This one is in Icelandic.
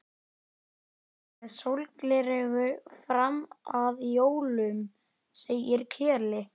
Heimir Már: Þú ert að tala um dómsmál?